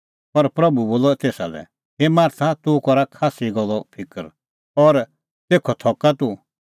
पर प्रभू बोलअ तेसा लै हे मार्था तूह करा खास्सी गल्लो फिकर और तेखअ थका तूह